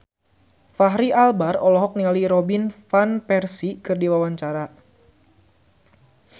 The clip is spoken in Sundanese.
Fachri Albar olohok ningali Robin Van Persie keur diwawancara